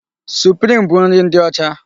Suprim bụ nri ndị ọcha.